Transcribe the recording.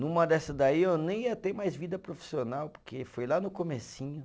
Numa dessa daí eu nem ia ter mais vida profissional, porque foi lá no comecinho.